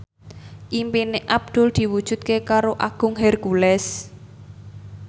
impine Abdul diwujudke karo Agung Hercules